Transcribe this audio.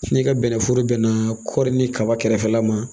Ni ka bɛnnɛforo bɛnna kɔri ni kaba kɛrɛfɛla ma